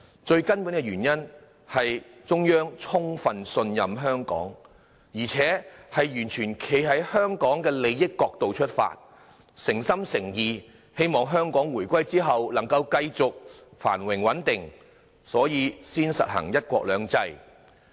最根本的原因，是中央充分信任香港，而且完全站在香港的利益角度出發，誠心誠意希望香港回歸後可以繼續繁榮穩定，所以才實行"一國兩制"。